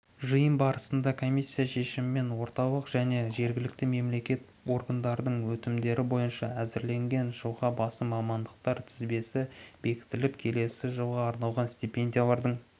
жиын барысында комиссия шешімімен орталық және жергілікті мемлекеттік органдардың өтінімдері бойынша әзірленген жылға басым мамандықтар тізбесі бекітіліп келесі жылға арналған стипениялардың